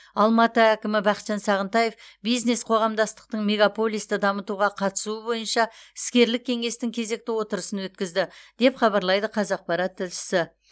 алматы әкімі бақытжан сағынтаев бизнес қоғамдастықтың мегаполисті дамытуға қатысуы бойынша іскерлік кеңестің кезекті отырысын өткізді деп хабарлайды қазақпарат тілшісі